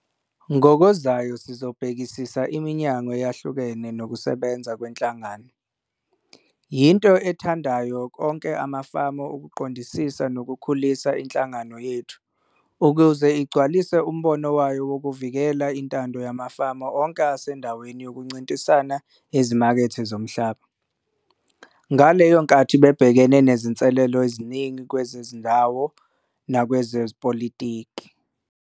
Ngokuzayo sizobhekisisa iminyango eyahlukene nokusebenza kwenhlangano. Yinto ayithandayo onke amafama ukuqondisisa nokukhulisa inhlangano yethu ukuze igcwalise umbono wayo wokuvikela intando yamafama onke esendaweni ykoncintisana ezimakethe zomhlaba, ngaleyo nkathi bebhekene nezinselelo eziningi kwezezindawo nakwezepolotiki.